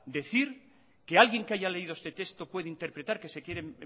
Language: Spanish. decir que alguien que haya leído este texto puede interpretar que se quiere